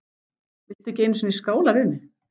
Viltu ekki einu sinni skála við mig?